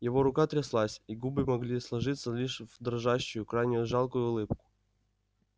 его рука тряслась и губы могли сложиться лишь в дрожащую крайне жалкую улыбку